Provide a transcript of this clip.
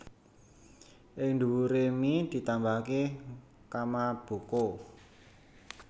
Ing dhuwure mi ditambahake kamaboko